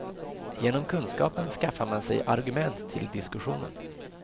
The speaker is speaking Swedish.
Genom kunskapen skaffar man sig argument till diskussionen.